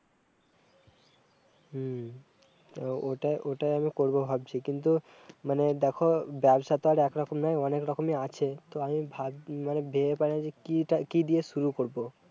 হম তো ওটা-ওটাই আমি করব ভাবছি, কিন্তু, মানে, দেখো, ব্যবসা তা আর একরকম নয়, অনেক রকমি আছে, তো আমি ভাবছি, মানে ভেবে পাইনি যে কি-তা-কি দিয়ে শুরু করব